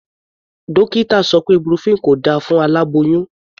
Dókítà sọ pé ibuprofen kò da fún aláboyún.